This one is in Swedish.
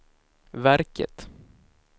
verket